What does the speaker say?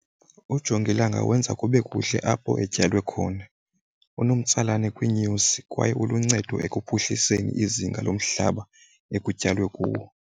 Ujongilanga wenza kube kuhle apho etyalwe khona. Unomtsalane kwiinyosi kwaye uluncedo ekuphuhliseni izinga lomhlaba ekutyalwe kuwo.